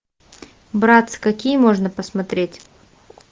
братц какие можно посмотреть